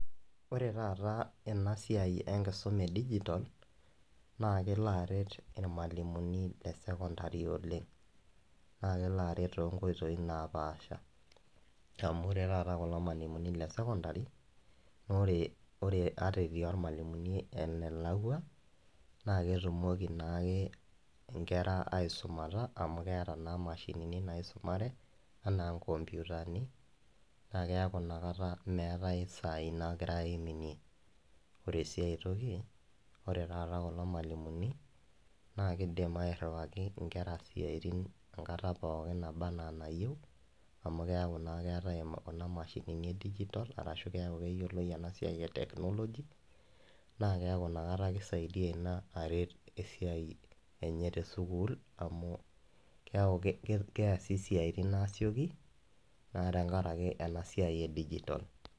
Ore tataa enasiai enkisuma edigitol naakeloaret ilmalimuni lesekondari oleng'. Naakeloaret toonkoitoi napaasha amu ore taata kulo malimuni lesokondari ore ore ata etii ilmalimuni enelakwa naaketumoki naake inkera aisumata amu keata naa mashinini naisumare, anaa nkompyutani naa keaku nakata meetai isaai naagirai aiminie. Ore sii ai toki ore taata kulo malimuni naakeidim airriwaki inkera siaitin enkata pookin nabaa anaa enayou amu keaku naa eatai kuna mashinini edigitol keaku peeyioloi enasiai eteknoloji naakeaku nakata keisaidia ina aret esiai enye tesukuul amu keaku keasi isiaitin aasioki naa tengarake enasiai edigitol.